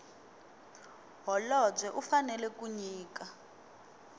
holobye u fanela ku nyika